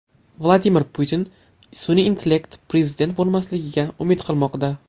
Vladimir Putin sun’iy intellekt prezident bo‘lmasligiga umid qilmoqda.